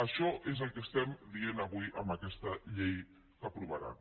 això és el que estem dient avui amb aquesta llei que aprovaran